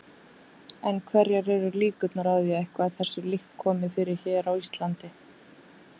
En hverjar eru líkurnar á að eitthvað þessu líkt komi fyrir hér á Íslandi?